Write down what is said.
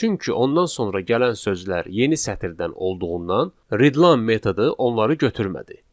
Çünki ondan sonra gələn sözlər yeni sətirdən olduğundan readline metodu onları götürmədi.